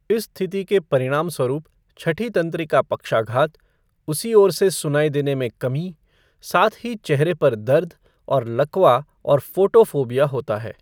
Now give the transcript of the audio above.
इस स्थिति के परिणामस्वरूप छठीं तंत्रिका पक्षाघात, उसी ओर से सुनाई देने में कमी, साथ ही चेहरे पर दर्द और लकवा और फ़ोटोफोबिया होता है।